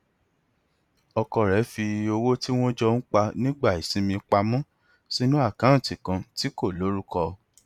ọkọ rẹ fi owó tí wọn jọ ń ná nígbà ìsinmi pa mọ sínú àkáǹtì kan tí kò lorúkọ